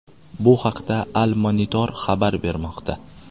Bu haqda Al-Monitor xabar bermoqda .